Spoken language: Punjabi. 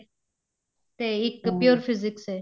ਤੇ ਇੱਕ pure physics ਏ